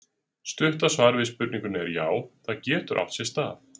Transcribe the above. Stutta svarið við spurningunni er: Já, það getur átt sér stað.